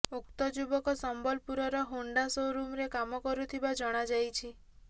ଉକ୍ତ ଯୁବକ ସମ୍ବଲପୁରର ହୋଣ୍ଡା ଶୋରୁମରେ କାମ କରୁଥିବା ଜଣାଯାଇଛି